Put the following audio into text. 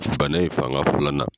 Bana ye fanga fɔlɔ na